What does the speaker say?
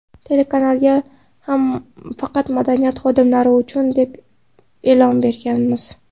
Telekanalga ham faqat madaniyat xodimlari uchun, deb e’lon berganmiz.